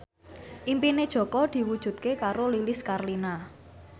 impine Jaka diwujudke karo Lilis Karlina